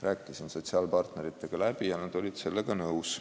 Rääkisin sotsiaalpartneritega läbi, nad olid ettepanekuga nõus.